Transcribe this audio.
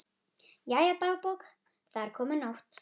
Jæja, dagbók, það er komin nótt.